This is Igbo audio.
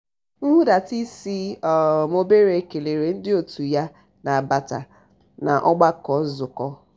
nhudata isi um obere kelere ndị otu ya na-abata n'ọgbakọ nzukọ.